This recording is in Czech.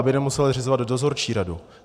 Aby nemuseli zřizovat dozorčí radu.